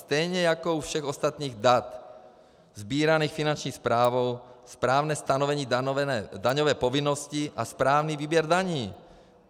Stejně jako u všech ostatních dat sbíraných Finanční správou, správné stanovení daňové povinnosti a správný výběr daní.